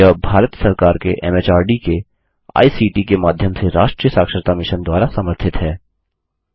यह भारत सरकार के एमएचआरडी के आईसीटी के माध्यम से राष्ट्रीय साक्षरता मिशन द्वारा समर्थित है